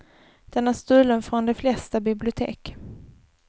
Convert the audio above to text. Den är stulen från de flesta bibliotek.